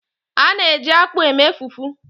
A na-eji akpu eme fufu.